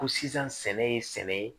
Ko sisan sɛnɛ ye sɛnɛ ye